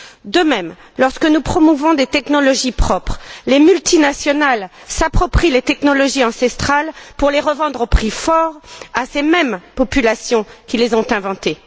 De même, lorsque nous promouvons des technologies propres, les multinationales s'approprient les technologies ancestrales pour les revendre au prix fort à ces mêmes populations qui les ont inventées.